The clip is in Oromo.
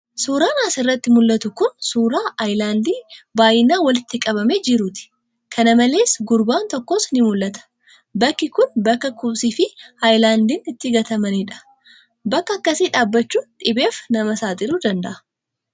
Suuraan as irratti mul'atu kun suuraa ayilaandii baay'inaan walitti qabamee jiruu ti. Kanamalees, gurbaan tokkos ni mul'ata. Bakki kun bakka kosii fi ayilaandiin itti gatamanii dha. Bakka akkasii dhaabachuun dhibeef nama saaxiluu danda'a.